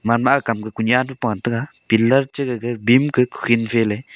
ganma akam ka kunya payega pillar che gaga beam ke kukhin cheley.